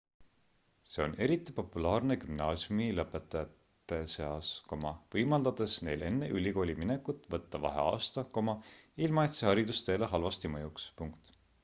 see on eriti populaarne gümnaasiumilõpetajate seas võimaldades neil enne ülikooli minekut võtta vaheaasta ilma et see haridusteele halvasti mõjuks